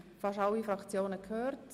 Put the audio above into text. Wir haben fast alle Fraktionen gehört.